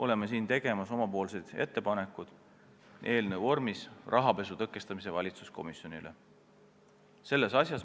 Plaanime teha omapoolse ettepaneku eelnõu vormis rahapesu tõkestamise valitsuskomisjonile.